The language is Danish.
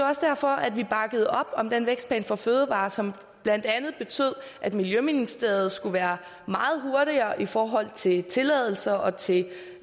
også derfor at vi bakkede op om den vækstplan for fødevarer som blandt andet betød at miljøministeriet skulle være meget hurtigere i forhold til tilladelser og til